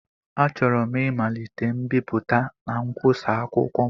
Achọrọ m ịmalite mbipụta na nkwusa akwụkwọ m